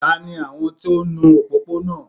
Tani àwọn tó ń nu òpópónà?